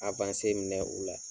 minɛ u la